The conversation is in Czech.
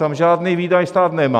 Tam žádný výdaj stát nemá.